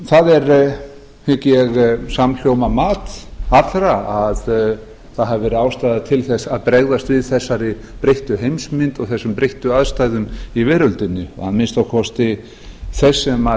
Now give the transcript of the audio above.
það er hygg ég samhljóma mat allra að það hafi verið ástæða til þess að bregðast við þessari breyttu heimsmynd og þessum breyttu aðstæðum í veröldinni að minnsta kosti þess sem